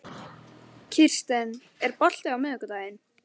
Farið skal eftir slíkum sérákvæðum ef þau eru fyrir hendi.